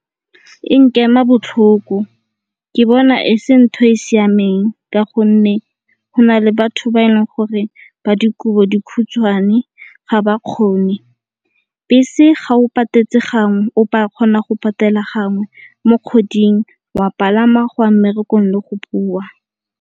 E nkema botlhoko ke bona e se nthwe e siameng ka gonne go na le batho ba e leng gore ba dikobodikhutshwane ga ba kgone. Bese ga o ka kgona go patela gangwe mo kgweding wa palama go ya mmerekong le go boa.